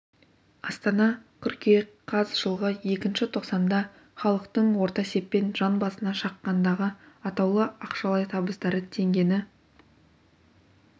астана қыркүйек қаз жылғы іі тоқсанда халықтың орта есеппен жан басына шаққандағы атаулы ақшалай табыстары теңгені